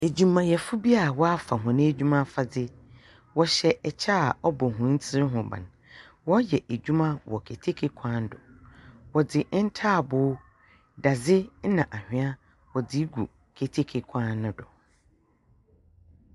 Adwumayɛfo bi a w'afa wɔn adwuma afiadze wɔhyɛ ɛkyɛ a wɔbɔ wɔntiri ho ban wɔyɛ adwuma wɔ keteke kwan do wɔdze ntaabo, dadze nna anua wɔdze gu keteke kwan no do.